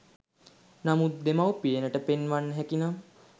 නමුත් දෙමව්පියනට පෙන්වන්න හැකි නම්